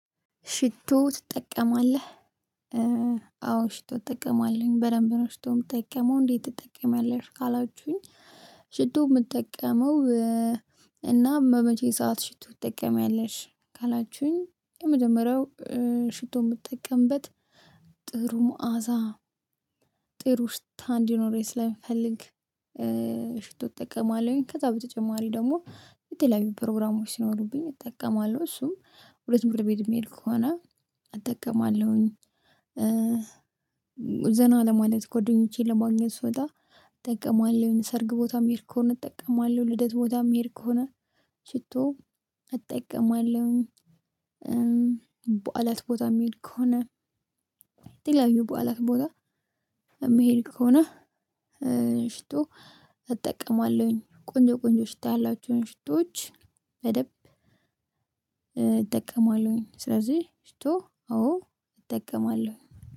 ሽቶ ትጠቀማለህ? አዎ ሽቶ እጠቀማለሁኝ በደንብ ነው ሽቶ ምጠቀመው? እንዴት ትጠቀሚያለሽ ካላችሁኝ ሽቶ የምጠቀመው? እና በመቼ ሰዓት ሽቶ ትጠቀሚያለሽ? ካላችሁኝ የመጀመሪያው ሽቶ የምጠቀምበት ጥሩ መዓዛ ጥሩ ሽታ እንዲኖረኝ ስለምፈልግ ሽቶ ጠቀማለሁኝ ከዛ በተጨማሪ ደግሞ የተለያዩ ፕሮግራሞች ሲኖሩብኝ እጠቀማለሁ እሱም ወደ ትምህርት ቤት የምሄድ ከሆነ እጠቀማለሁኝ። ዘና ለማለት ጎደኞቼን ለማግኘት ስወጣ እጠቀማለሁኝ ሰርግ ቦታ ምሄድ ከሆነ እጠቀማለሁ ልደት ቦታ ምሄድ ከሆነ ሽቶ እጠቀማለሁኝ። እጠቀማለሁ በዓላት ቦታ የምሄድ ከሆነ የተለያዩ በዓላት ቦታ የምሄድ ከሆነ ሽቶ እጠቀማለሁኝ። ቆንጆ ቆንጆ ሽታ ያላቸውን ሽቶዎች በደንብ እጠቀማለሁኝ ስለዚህ ሽቶ አዎ እጠቀማለሁ።